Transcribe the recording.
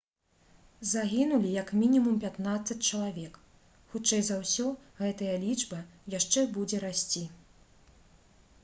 загінулі як мінімум 15 чалавек. хутчэй за ўсё гэтая лічба яшчэ будзе расці»